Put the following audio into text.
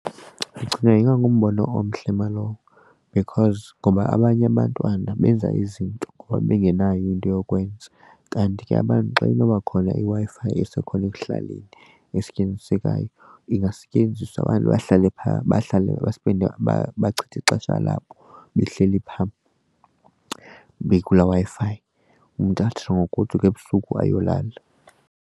Ndicinga ingangumbono omhle nalowo because ngoba abanye abantwana benza izinto ngoba bengenayo into yokwenza kanti ke abantu xa inoba khona iWi-Fi isekhona ekuhlaleni esebenzisekayo ingasetyenziswa abantu bahlale phaa bahlale bespende bachithe ixesha labo behleli phaa bekulaa Wi-Fi. Umntu atsho ngokugoduka ebusuku ayolala.